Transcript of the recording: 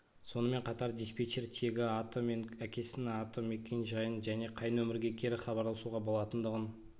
сонымен қатар диспетчер тегі аты мен әкесінің атын мекен-жайын және қай нөмірге кері хабарласуға болатындығын